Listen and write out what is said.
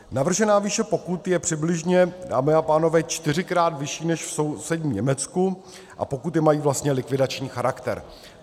Navržená výše pokut je přibližně, dámy a pánové, čtyřikrát vyšší než v sousedním Německu a pokuty mají vlastně likvidační charakter.